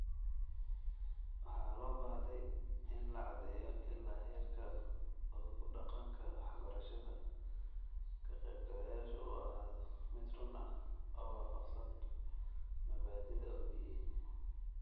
Waxa loo baahday in la caddeeyo ilaa heerka uu ku-dhaqanka waxbarashadda ka-qaybgalayaashu uu ahaado mid run ah oo waafaqsan mabaadi'da OBE.